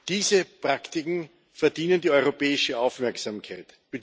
Diese Praktiken verdienen die europäische Aufmerksamkeit.